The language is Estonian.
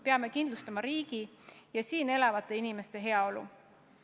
Peame kindlustama riigi ja siin elavate inimeste heaolu.